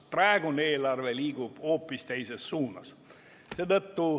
Praegune eelarve liigub hoopis teises suunas.